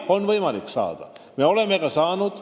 Jah, on võimalik saada ja me oleme juba ka saanud.